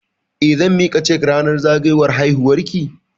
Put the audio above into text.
Eh, zan miki cake ranar zagayowar haihuwar ki?